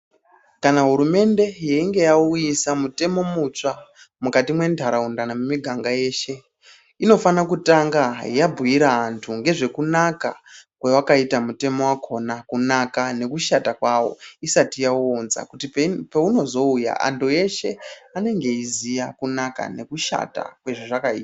Kana hurumende yeinge yauyisa mutemo mutsva mukati mwentaraunda nemumiganga yeshe inofana kutanga yabhuira antu ngezvekunaka kwewakaita mutemo wakhona. Kunaka nekushata kwawo isati yauunza kuti peunozouya antu eshe anenge eiziya kunaka nekushata kwezvazvakaita.